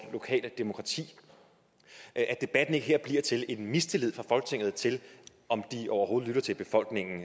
lokale demokrati at debatten her ikke bliver til en mistillid fra folketinget til om de overhovedet lytter til befolkningen